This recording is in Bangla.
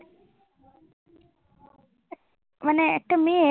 মানে একটা মেয়ে